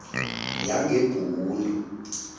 yangebhundu